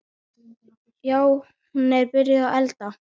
Já, hún er byrjuð að elda.